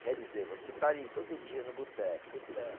Quer dizer, você está ali todo dia no boteco, boteco.